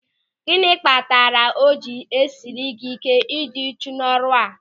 Gịnị kpatara o ji esiri gị ị́ké ịdị uchu n'ọrụ a?